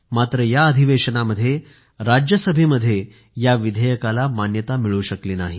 मात्र या अधिवेशनामध्ये राज्यसभेमध्ये या विधेयकाला मान्यता मिळू शकली नाही